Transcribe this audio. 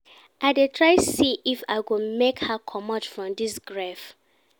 I dey try see if I go make her comot from dis grief.